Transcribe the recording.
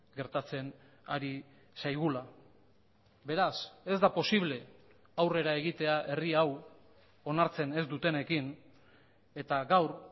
gertatzen ari zaigula beraz ez da posible aurrera egitea herri hau onartzen ez dutenekin eta gaur